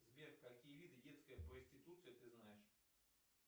сбер какие виды детской проституции ты знаешь